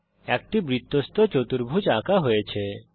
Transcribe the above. একটি বৃত্তস্থ চতুর্ভুজ আঁকা হয়েছে